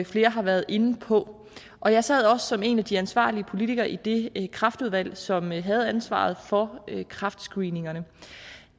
flere har været inde på og jeg sad også som en af de ansvarlige politikere i det kræftudvalg som havde ansvaret for kræftscreeningerne